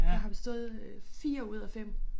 Jeg har bestået øh 4 ud af 5